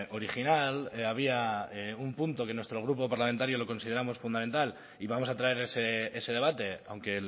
original había un punto que nuestro grupo parlamentario lo consideramos fundamental y vamos a traer ese debate aunque